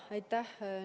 Aitäh!